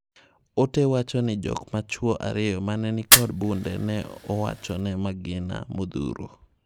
Oote wachoni jok machwoo ariyo manenikod bunde ne o,wochone magina modhuro.